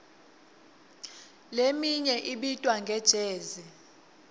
leminye ibitwa nge jezi